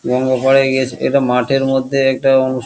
মনে হয় গিয়েছে এটা মাঠের মধ্যে একটা অনুষ্--